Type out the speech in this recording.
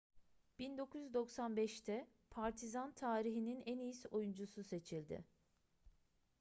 1995'te partizan tarihinin en iyi oyuncusu seçildi